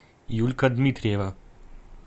юлька дмитриева